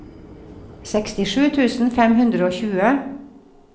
sekstisju tusen fem hundre og tjue